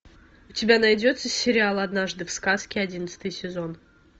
у тебя найдется сериал однажды в сказке одиннадцатый сезон